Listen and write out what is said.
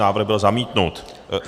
Návrh byl zamítnut.